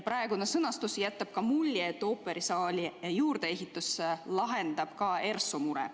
Praegune sõnastus jätab mulje, et ooperisaali juurdeehitus lahendab ka ERSO mure.